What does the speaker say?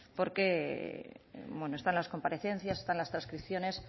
porque está en las comparecencias está en las transcripciones